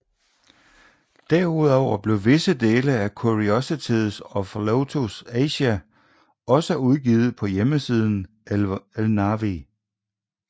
Derudover blev visse dele af Curiosities of Lotus Asia også udgivet på hjemmesiden Elnavi